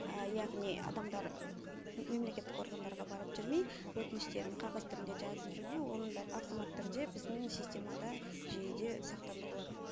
яғни адамдар мемлекеттік органдарға барып жүрмей өтініштерін қағаз түрінде жазып жүрмей оның бәрі автомат түрде біздің системада жүйеде сақтандырылады